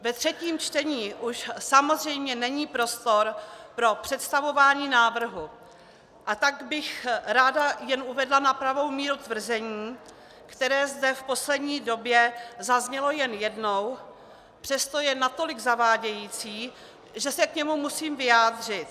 Ve třetím čtení už samozřejmě není prostor pro představování návrhu, a tak bych jen ráda uvedla na pravou míru tvrzení, které zde v poslední době zaznělo jen jednou, přesto je natolik zavádějící, že se k němu musím vyjádřit.